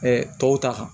tɔw ta kan